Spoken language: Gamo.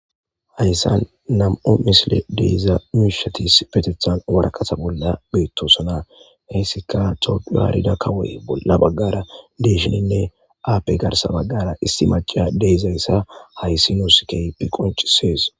hayssan nam7o misile deiza mishatis petethan warakata bolla beettosana heessika topuyaarida kawoye bolla baggara deeshininne appe garsa baggara istimaca deezayssa hayssi nuus keypi qoncisees